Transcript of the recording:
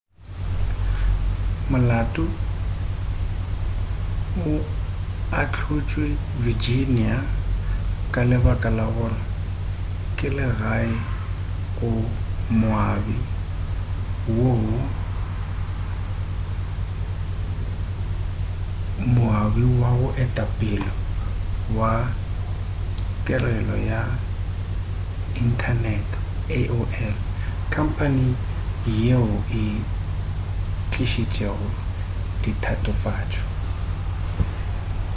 molato o ahlotšwe virginia ka lebaka la gore ke legae go moabi wa go etapele wa tirelo ya inthanete aol khamphane yeo e tlišitšego ditatofatšo